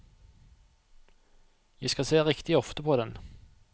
Jeg skal se riktig ofte på den.